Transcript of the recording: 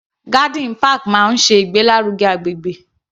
Garden park máa ṣe ìgbé lárugẹ agbègbè.